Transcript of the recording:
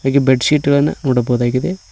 ಹಾಗೆ bed sheet ಗಳನ್ನು ನೋಡಬಹುದಾಗಿದೆ.